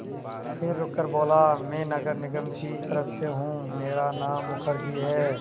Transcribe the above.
फिर रुककर बोला मैं नगर निगम की तरफ़ से हूँ मेरा नाम मुखर्जी है